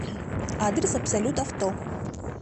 адрес абсолют авто